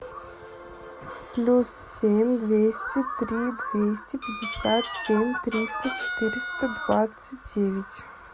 плюс семь двести три двести пятьдесят семь триста четыреста двадцать девять